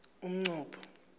umnqopho